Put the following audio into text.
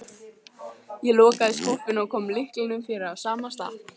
Ég lokaði skúffunni og kom lyklinum fyrir á sama stað.